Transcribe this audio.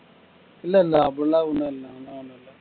இல்லை இல்லை அப்படியெல்லாம் ஒன்னும் இல்லை